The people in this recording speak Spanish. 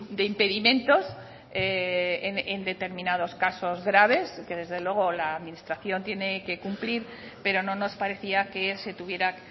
de impedimentos en determinados casos graves y que desde luego la administración tiene que cumplir pero no nos parecía que se tuviera